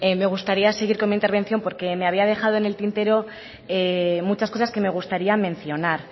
me gustaría seguir con mi intervención porque me había dejado en el tintero muchas cosas que me gustarían mencionar